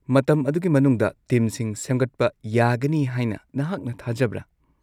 ꯃꯇꯝ ꯑꯗꯨꯒꯤ ꯃꯅꯨꯡꯗ ꯇꯤꯝꯁꯤꯡ ꯁꯦꯝꯒꯠꯄ ꯌꯥꯒꯅꯤ ꯍꯥꯏꯅ ꯅꯍꯥꯛꯅ ꯊꯥꯖꯕ꯭ꯔꯥ?